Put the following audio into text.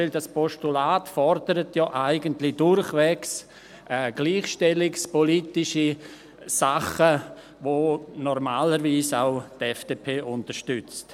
Denn dieses Postulat fordert ja eigentlich durchwegs gleichstellungspolitische Dinge, die normalerweise die FDP auch unterstützt.